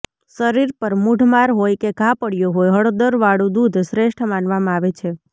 શરીર પર મૂઢ માર હોય કે ઘા પડયો હોય હળદરવાળું દૂધ શ્રેષ્ઠ માનવામાં આવે છે